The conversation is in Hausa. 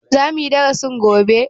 Za muyi darasin gobe?